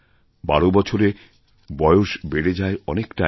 বারো বছরে বয়স বেড়ে যায় অনেকটাই